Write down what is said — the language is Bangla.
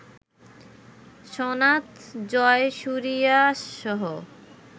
সনাথ জয়সুরিয়াসহ